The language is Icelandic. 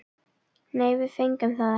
Nei, við fengum það ekki.